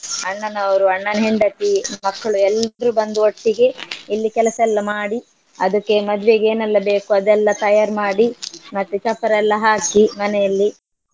ಅಣ್ಣನವ್ರು ಅಣ್ಣನ ಹಂಡತಿ ಮಕ್ಳು ಎಲ್ರೂ ಬಂದು ಒಟ್ಟಿಗೇ ಇಲ್ಲಿ ಕೆಲಸ ಎಲ್ಲ ಮಾಡಿ ಅದಕ್ಕೆ ಮದ್ವೆಗೆ ಏನೆಲ್ಲ ಬೇಕು ಅದೆಲ್ಲ ತಯಾರ್ ಮಾಡಿ ಮತ್ತೆ ಚಪ್ಪರ ಎಲ್ಲ ಹಾಕಿ ಮನೆಯಲ್ಲಿ.